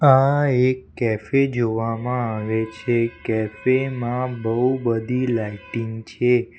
આ એક કેફે જોવામાં આવે છે કેફી માં બહુ બધી લાઇટિંગ છે.